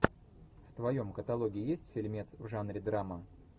в твоем каталоге есть фильмец в жанре драма